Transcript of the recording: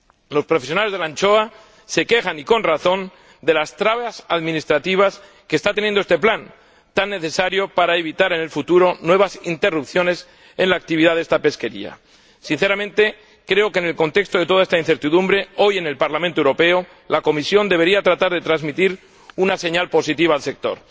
Los profesionales de la anchoa se quejan, con razón, de las trabas administrativas que está afrontando este plan, tan necesario para evitar en el futuro nuevas interrupciones en la actividad de esta pesquería. Sinceramente creo que, en el contexto de toda esta incertidumbre, hoy en el Parlamento Europeo, la Comisión debería tratar de transmitir una señal positiva al sector.